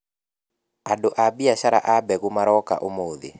Andũ a mbiacara a mbegũ maroka ũmũthĩ.